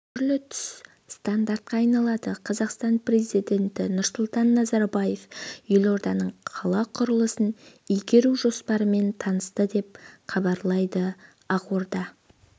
түрлі-түс стандарқа айналады қазақстан президенті нұрсұлтан назарбаев елорданың қала құрылысын игеру жоспарымен танысты деп хабарлайды ақорда